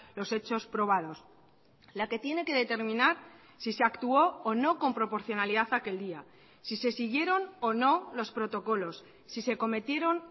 los hechos probados la que tiene que determinar si se actuó o no con proporcionalidad aquel día si se siguieron o no los protocolos si se cometieron